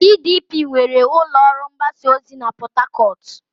PDP nwere ụlọ ọrụ mgbasa ozi na Port Harcourt.